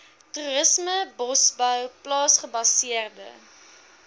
toerisme bosbou plaasgebaseerde